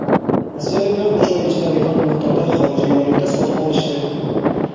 Rossiyaliklar uch oy ichida rekord miqdorda xorijiy valyuta sotib olishdi.